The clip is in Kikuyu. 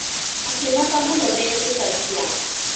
Akĩmaka mũno ndetĩkagia.